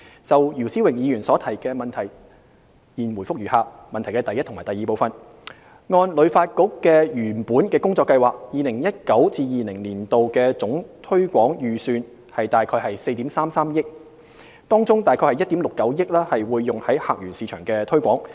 就姚思榮議員所提的質詢，現答覆如下：一及二按旅發局原本的工作計劃 ，2019-2020 年度的總推廣預算約為4億 3,300 萬元，當中約1億 6,900 萬元會用於客源市場的推廣。